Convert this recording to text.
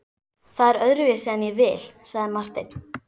Það er öðruvísi en ég vil, sagði Marteinn.